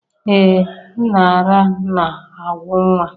Ee m ara na-agwụ nwa.